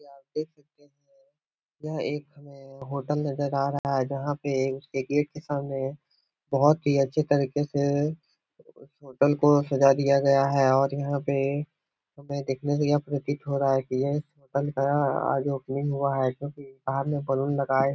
ये आप देख सकते है । यह एक हमे होटल नज़र आ रहा है । जहाँ पे उसके गेट के सामने बहुत ही अच्छी तरीके से उस होटल को सजा दिया गया है । और यहाँ पे हमे देखने से यह प्रतीत हो रहा है । की यह होटल का आज ओपनिंग हुआ हैं । जो कि बाहर में बलून लगाये --